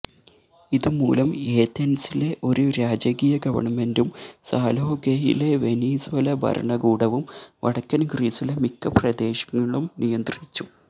ഇതുമൂലം ഏഥൻസിലെ ഒരു രാജകീയ ഗവൺമെൻറും സാലോകയിലെ വെനിസ്വേല ഭരണകൂടവും വടക്കൻ ഗ്രീസിലെ മിക്ക പ്രദേശങ്ങളും നിയന്ത്രിച്ചു